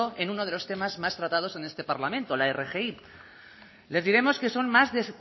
en uno de los temas más tratados en este parlamento la rgi les diremos que son más desde